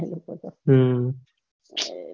હમ